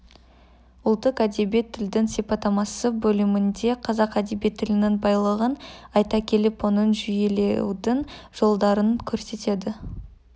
ұлттық әдеби тілдің сипаттамасы бөлімінде қазақ әдеби тілінің байлығын айта келіп оны жүйелеудің жолдарын көрсетеді